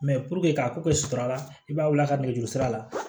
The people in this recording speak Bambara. k'a ko kɛ sutura la i b'a wuli a ka nɛgɛjuru sira la